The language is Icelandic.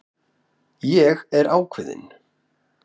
Ég er ákveðin.